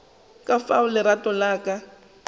ka fao lerato la ka